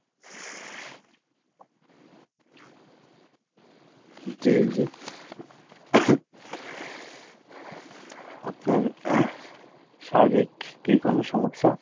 জি জি আপনার শারীরিক কী কোনো সমস্যা ?